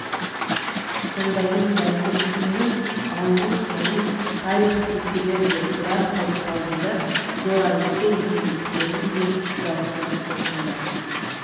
сондайын бәлкім кімнің ауру-сауын тарих тексерер де бірақ тарих алдында зор айыпты екендіктерің де даусыз осында